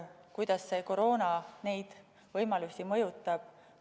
Kuidas koroona neid võimalusi mõjutab?